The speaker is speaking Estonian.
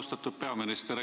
Austatud peaminister!